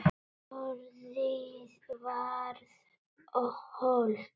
Orðið varð hold.